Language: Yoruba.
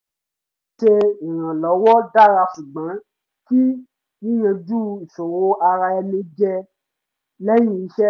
ṣíṣe ìrànlọ́wọ́ dára ṣùgbọ́n kí yíyanjú ìṣòro ara ẹni jẹ́ lẹ́yìn ìṣẹ́